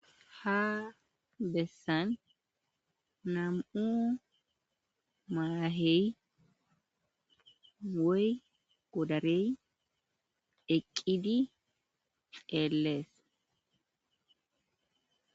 Ha bessan nam'u maahey woy godarey eqqidi xeellees.